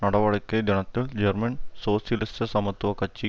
நடவடிக்கை தினத்தில் ஜெர்மன் சோசியலிச சமத்துவ கட்சி